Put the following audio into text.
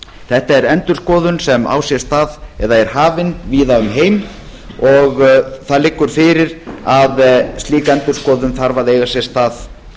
þetta er endurskoðun sem á sér stað eða er hafin víða um heim og það liggur fyrir að slík endurskoðun þarf að eiga sér stað